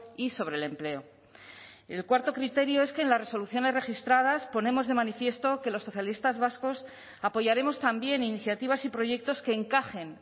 y sobre el empleo el cuarto criterio es que en las resoluciones registradas ponemos de manifiesto que los socialistas vascos apoyaremos también iniciativas y proyectos que encajen